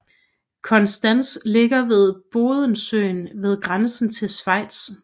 Konstanz ligger ved Bodensøen ved grænsen til Schweiz